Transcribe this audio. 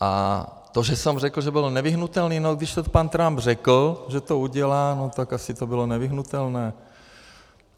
A to, že jsem řekl, že bylo nevyhnutelné, no když to pan Trump řekl, že to udělá, no tak asi to bylo nevyhnutelné.